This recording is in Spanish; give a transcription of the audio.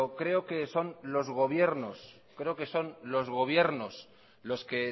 creo que son los gobiernos los que